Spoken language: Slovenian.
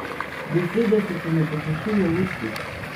Besede so se mi posušile v ustih.